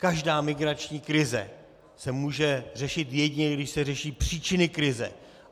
Každá migrační krize se může řešit, jedině když se řeší příčiny krize.